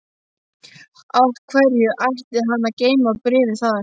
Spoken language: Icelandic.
Af hverju ætti hann að geyma bréfið þar?